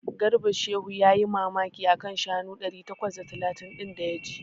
Garba Shehu yayi mamaki a kan shanu ɗari takwas da talatin ɗin da ya ji.